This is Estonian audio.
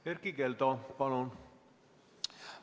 Erkki Keldo, palun!